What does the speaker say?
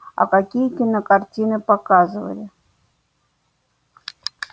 а какие кинокартины показывали